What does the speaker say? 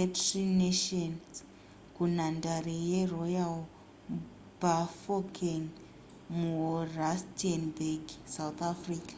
etri nations kunhandare yeroyal bafokeng murustenburg south africa